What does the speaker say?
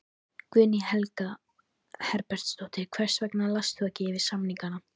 Guðný Helga Herbertsdóttir: Hvers vegna last þú ekki yfir samningana?